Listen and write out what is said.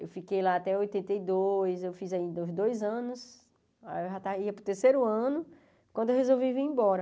Eu fiquei lá até oitenta e dois, eu fiz ainda os dois anos, aí eu já ia para o terceiro ano, quando eu resolvi vir embora.